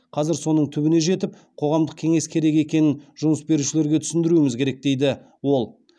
қазір соның түбіне жетіп қоғамдық кеңес керек екенін жұмыс берушілерге түсіндіруіміз керек дейді ол